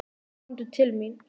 Komdu til mín.